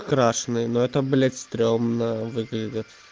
крашенный но это блядь стрёмно выглядит